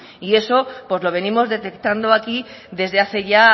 y eso lo venimos detectando aquí desde hace ya